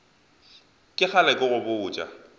ke kgale ke go botša